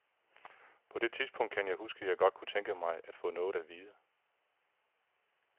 På det tidspunkt kan jeg huske, at jeg godt kunne tænke mig at få noget at vide.